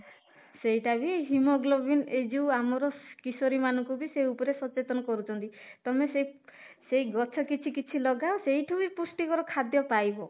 ସେଇଟା ବି haemoglobin ଏଇ ଯୋଉ ଆମର କିଶୋରୀ ମାନଙ୍କୁ ବି ସେଇ ଉପରେ ବି ସଚେତନ କରୁଛନ୍ତି ତମେ ସେଇ ସେଇ ଗଛ କିଛି କିଛି ଲଗାଅ ସେଇଠୁ ହି ପୃଷ୍ଟିକର ଖାଦ୍ୟ ପାଇବ